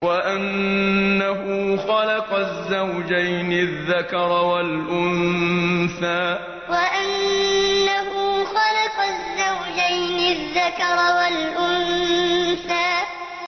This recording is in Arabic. وَأَنَّهُ خَلَقَ الزَّوْجَيْنِ الذَّكَرَ وَالْأُنثَىٰ وَأَنَّهُ خَلَقَ الزَّوْجَيْنِ الذَّكَرَ وَالْأُنثَىٰ